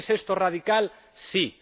¿Es esto radical? Sí.